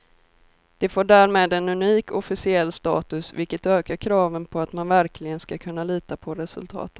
Det får därmed en unik officiell status, vilket ökar kraven på att man verkligen ska kunna lita på resultaten.